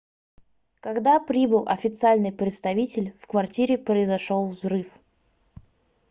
когда прибыл официальный представитель в квартире произошел взрыв